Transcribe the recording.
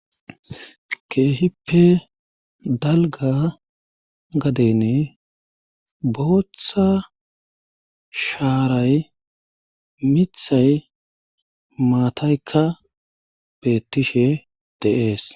keehippe dalga gadene booththa shaaray mithay maataykka beettishe de'es